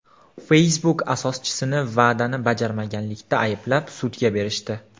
Facebook asoschisini va’dani bajarmaganlikda ayblab, sudga berishdi.